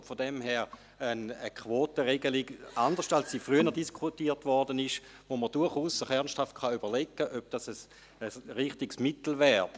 Daher wäre es eine Quotenregelung, anders, als man sie früher diskutierte, bei der man sich durchaus ernsthaft überlegen kann, ob diese ein richtiges Mittel wäre.